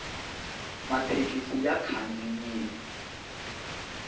mathekisi ya khandziyile